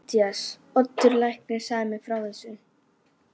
MATTHÍAS: Oddur læknir sagði mér frá þessu.